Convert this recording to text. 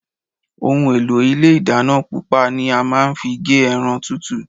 Ohùn elo Ilé ìdáná pupa ni a máa n fi gé eran tútù